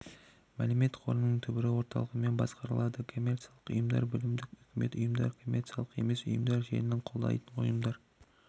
мәлімет қорының түбірі орталығымен басқарылады коммерциялық ұйымдар білімдік үкіметтік ұйымдар коммерциялық емес ұйымдар желіні қолдайтын ұйымдар